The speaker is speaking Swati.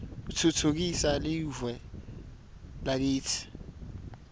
utfutfukisa liue lakitsi